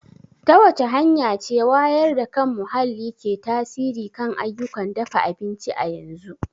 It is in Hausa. Ta wace hanya ce wayar da kan muhalli ke tasiri kan ayyukan dafa abinci a yanzu?